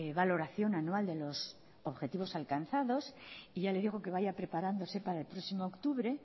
valoración anual de los objetivos alcanzados y ya le digo que vaya preparándose para el próximo octubre